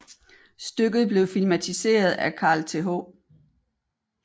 Stykket blev filmatiseret af Carl Th